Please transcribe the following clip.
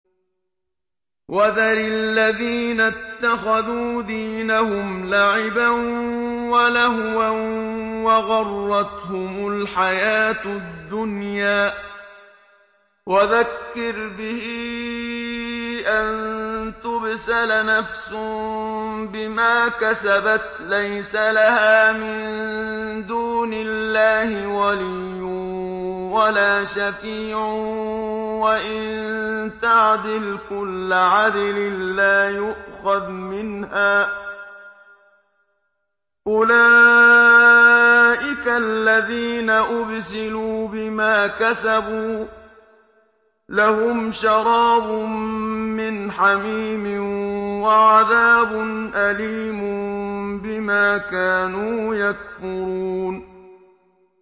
وَذَرِ الَّذِينَ اتَّخَذُوا دِينَهُمْ لَعِبًا وَلَهْوًا وَغَرَّتْهُمُ الْحَيَاةُ الدُّنْيَا ۚ وَذَكِّرْ بِهِ أَن تُبْسَلَ نَفْسٌ بِمَا كَسَبَتْ لَيْسَ لَهَا مِن دُونِ اللَّهِ وَلِيٌّ وَلَا شَفِيعٌ وَإِن تَعْدِلْ كُلَّ عَدْلٍ لَّا يُؤْخَذْ مِنْهَا ۗ أُولَٰئِكَ الَّذِينَ أُبْسِلُوا بِمَا كَسَبُوا ۖ لَهُمْ شَرَابٌ مِّنْ حَمِيمٍ وَعَذَابٌ أَلِيمٌ بِمَا كَانُوا يَكْفُرُونَ